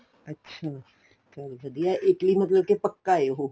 ਅੱਛਾ ਚੱਲ ਵਧੀਆ ਏ ਹਾਂ Italy ਮਤਲਬ ਪੱਕਾ ਏ ਉਹ